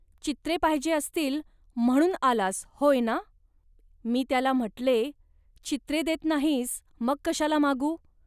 चित्रे पाहिजे असतील, म्हणून आलास होय ना. .मी त्याला म्हटले, "चित्रे देत नाहीस, मग कशाला मागू